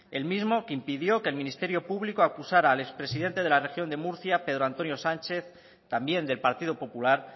el mismo que impidió que el ministerio público acusara al expresidente de la región de murcia pedro antonio sánchez también del partido popular